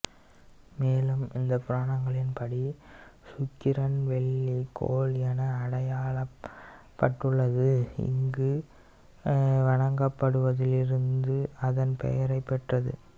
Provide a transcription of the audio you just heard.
மேலும் இந்து புராணங்களின்படி சுக்கிரன் வெள்ளி கோள் என அடையாளப்பட்டுள்ளது இங்கு வணங்கப்படுவதிலிருந்து அதன் பெயரைப் பெற்றது